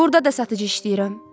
Burda da satıcı işləyirəm.